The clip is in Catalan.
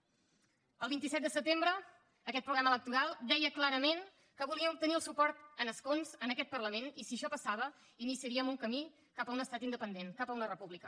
el vint set de setembre aquest programa electoral deia clarament que volia obtenir el suport en escons en aquest parlament i si això passava iniciaríem un camí cap a un estat independent cap a una república